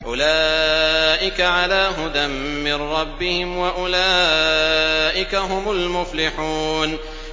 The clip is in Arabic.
أُولَٰئِكَ عَلَىٰ هُدًى مِّن رَّبِّهِمْ ۖ وَأُولَٰئِكَ هُمُ الْمُفْلِحُونَ